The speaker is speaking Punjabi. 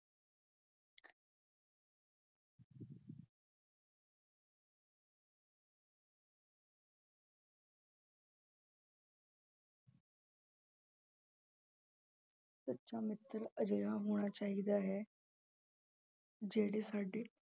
ਸੱਚਾ ਮਿੱਤਰ ਅਜਿਹਾ ਹੋਣਾ ਚਾਹੀਦਾ ਹੈ ਜਿਹੜੇ ਸਾਡੇ